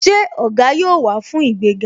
Ṣé Ògá yóò wá fún ìgbéga?